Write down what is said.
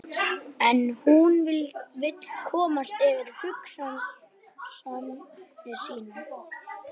En hún vill komast yfir hugsanir sínar.